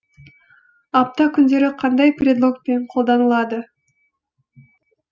апта күндері қандай предлогпен қолданылады